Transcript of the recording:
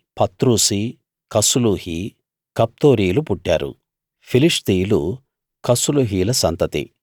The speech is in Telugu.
పత్రుసీ కస్లూహీ కఫ్తోరీలు పుట్టారు ఫిలిష్తీయులు కస్లూహీయుల సంతతి